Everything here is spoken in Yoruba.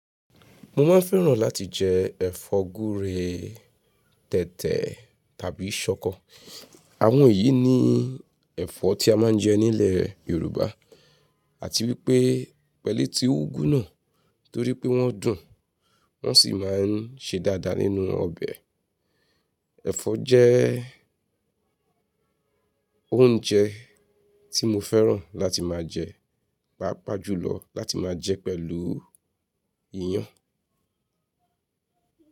Mo máa ń fẹ́ràn láti jẹ ẹ̀fọ́ gúre, tẹ̀tẹ̀ tàbí ṣọkọ. Àwọn yìí ni ẹ̀fọ́ tí a máa ń jẹ nílẹ̀ Yorùbá àti wípé pẹ̀lú etí úgú náà torí pé wọ́n dùn, wọ́n sì máa ń ṣe dáadáa nínú ọbẹ̀. Ẹ̀fọ́ jẹ́ oúnjẹ tí mo fẹ́ràn láti máa jẹ, pàápàá jùlọ láti máa jẹ pẹ̀lú iyán.